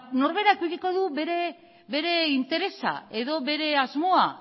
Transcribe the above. norberak edukiko du bere interesa edo bere asmoa